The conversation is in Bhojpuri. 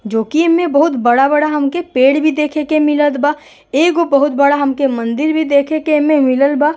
जो कि एमें बहुत बड़ा-बड़ा हमके पेड़ भी देखे के मिलत बा। एगो बहुत बड़ा हमके मंदिर भी देखे के एहमे मिलल बा।